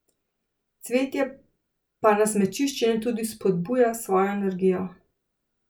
Cvetje pa nas med čiščenjem tudi spodbuja s svojo energijo.